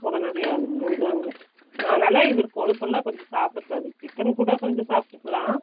உடனடியா அவருக்கு செஞ்சாங்க அதுனால கொழுப்பெல்லா கொஞ்சம் சாப்பிட கூடாது chicken கூட கொஞ்சம் சாப்ட்டுக்கலாம்